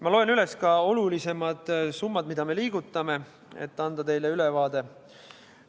Ma loen üles ka olulisemad summad, mida me liigutame, et anda teile ülevaade.